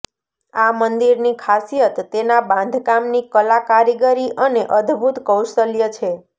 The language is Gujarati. આ મંદિરની ખાસિયત તેના બાંધકામની કલા કારીગરી અને અદભૂત કૌશલ્ય છે